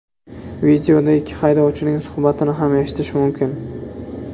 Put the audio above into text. Videoda ikki haydovchining suhbatini ham eshitish mumkin.